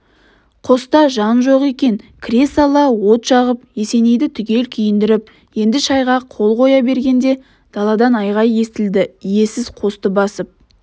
қоста жан жоқ екен кіре сала от жағып есенейді түгел киіндіріп енді шайға қол қоя бергенде даладан айғай естілдіиесіз қосты басып